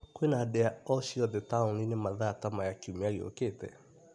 Kwĩna ndĩa o ciothe taũni-inĩ mathaa ta maya kiumia gĩũkĩte?